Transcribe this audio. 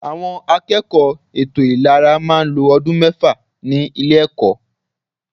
Àwọn akẹ́kọ̀ọ́ ètò ìlera máa ń lo ọdún mẹ́fà ní ilé ẹ̀kọ́.